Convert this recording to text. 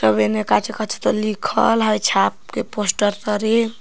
सब एने काची काची तौ लिखल है छाप के पोस्टर तरी।